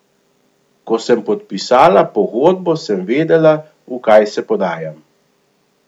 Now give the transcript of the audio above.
Ko sem podpisala pogodbo, sem vedela, v kaj se podajam.